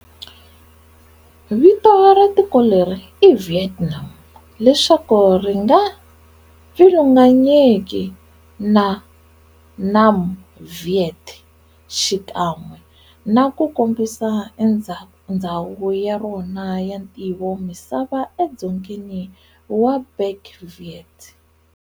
Vito ra tiko leri i"Vietnam" leswaku ri nga pfilunganyeki na Nam Viet, xikan'we naku kombisa ndzhawu ya rona ya ntivomisava e dzongeni wa Bach Viet.